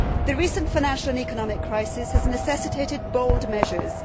The recent financial and economic crisis has necessitated bold measures.